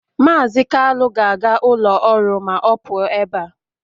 Mazị Kalu ga-aga ụlọ ọrụ ma ọ pụọ ebe a